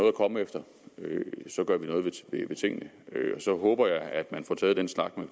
at komme efter gør vi noget ved tingene så håber jeg at man får taget den snak med